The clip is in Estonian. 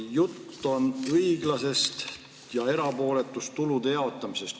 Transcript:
Jutt on õiglasest ja erapooletust tulude jaotamisest.